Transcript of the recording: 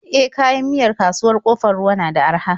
E, kayan miyar kasuwar Ƙofar Ruwa na da araha.